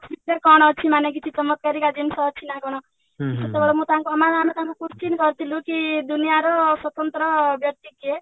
ଭିତରେ କଣ ଅଛି ମାନେ କିଛି ଚମତ୍କାରୀକା ଜିନିଷ ଅଛି ନା କଣ ସେତେବେଳେ ମୁଁ ମାନେ ଆମେ ତାଙ୍କୁ question କରିଥିଲୁ କି ଦୁନିଆର ସ୍ଵତନ୍ତ୍ର ବ୍ୟକ୍ତି କିଏ?